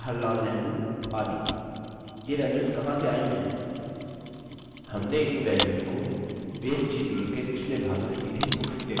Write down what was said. हमने इन values को base tutorial के पिछले भाग में सीधे books table में टाइप किया था